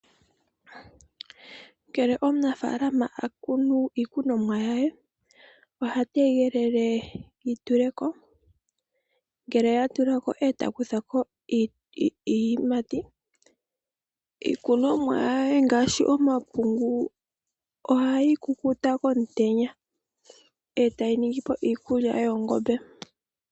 Ngele omunafalaama a kunu iikunomwa ye oha tegelele yi tule ko, ngele ya tula ko e ta kutha ko iiyimati. Iikunomwa ye ngaashi omapungu ohayi kukuta komutenya e tayi ningi po iikulya yoongombe.